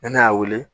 Ne y'a wele